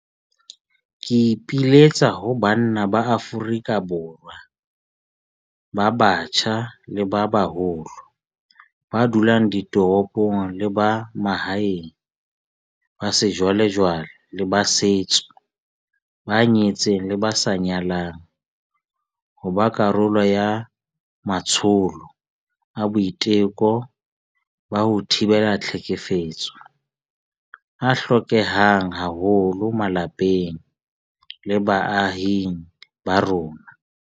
Ke ipiletsa ho banna ba Afrika Borwa ba batjha le ba baholo, ba dulang ditoropong le ba mahaeng, ba sejwalejwale le ba setso, ba nyetseng le ba sa nyalang, ho ba karolo ya matsholo a boiteko ba ho thibela tlhekefetso a hlokehang haholo malapeng le baahing ba rona.